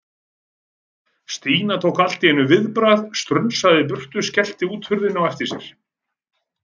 Stína tók allt í einu viðbragð, strunsaði í burtu og skellti útidyrahurðinni á eftir sér.